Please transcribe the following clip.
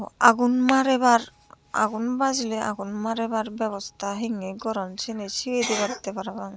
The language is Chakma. aagun marebar aagun bajili agun marebar bebosta hingi goron syeni sigey dibattey parapang.